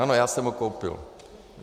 Ano, já jsem ho koupil.